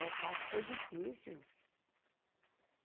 Ah, o parto foi difícil.